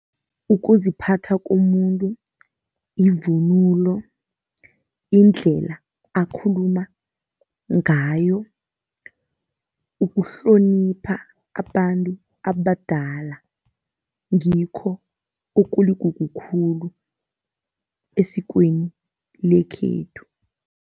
Ukuziphatha komuntu, ivunulo, indlela akhuluma ngayo, ukuhlonipha abantu abadala ngikho okuligugu khulu esikweni lekhethu.